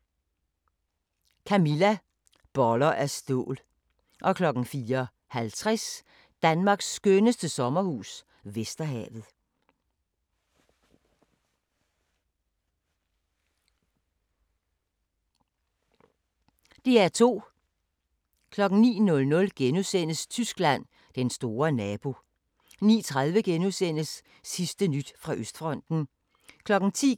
20:00: Luder eller lommepenge 21:00: Udkantsmæglerne II (6:10) 21:30: Rejsen til de øde danske øer – Æbelø 22:00: Kim Leine – mit liv som misbruger 23:00: Maps to the Stars 00:50: Under mistanke – vildspor (1:3)* 02:45: Deadline Nat